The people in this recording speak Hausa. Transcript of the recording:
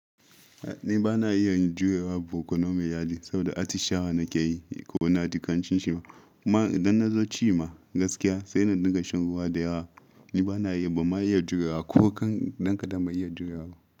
Ni bana iya yin juyewa boko na mu iyali saboda atishawa nake yi ko na dukan cin shima. Kuma idan na zo ci ma gaskiya sai na dinga shan ruwa da yawa. Ni bana iya ba ma iya juyawa ko kan danka da bai iya juyawa ba.